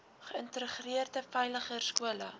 geïntegreerde veiliger skole